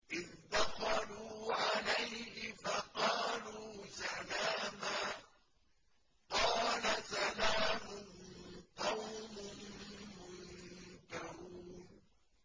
إِذْ دَخَلُوا عَلَيْهِ فَقَالُوا سَلَامًا ۖ قَالَ سَلَامٌ قَوْمٌ مُّنكَرُونَ